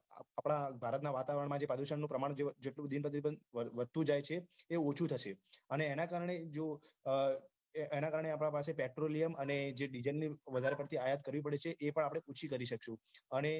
આપડા ભારતના વાતાવરણમાં જે પ્રદુષણ પ્રમાણ જે જેટલું દિન પ્રતિદિન વધતું જાયે છે તે ઓછુ થશે અને એના કારણે જો એના કારણે આપના પાસે જે petroleum અને diesel ની જે વધાર પડતી આયાત કરવી પડે એ પણ આપણે ઓછી કરવી પડશે